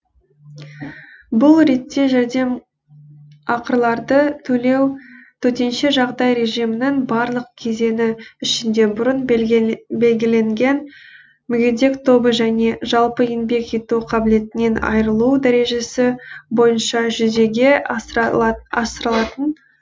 бұл ретте жәрдемақыларды төлеу төтенше жағдай режимінің барлық кезеңі ішінде бұрын белгіленген мүгедектік тобы және жалпы еңбек ету қабілетінен айырылу дәрежесі бойынша жүзеге асырылатын